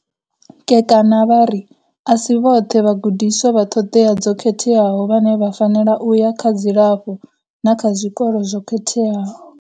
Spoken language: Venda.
Kekana vha ri, A si vhoṱhe vhagu diswa vha ṱhoḓea dzo khetheaho vhane vha fanela u ya kha dzilafho na kha zwikolo zwo khetheaho.